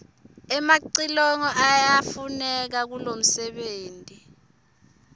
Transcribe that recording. emacilongo yayafuneka kulomfebenti